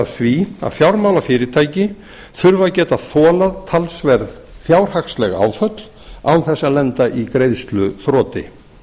því að fjármálafyrirtæki þurfa að geta þolað talsverð fjárhagsleg áföll án þess að lenda í greiðsluþroti